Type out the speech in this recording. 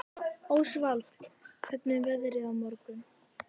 Ósvald, hvernig er veðrið á morgun?